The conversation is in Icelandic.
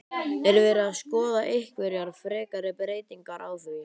Er verið að skoða einhverjar frekari breytingar á því?